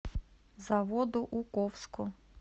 заводоуковску